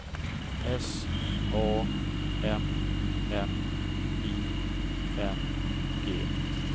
S A N N I N G